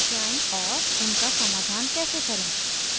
उनका समाधान कैसे करें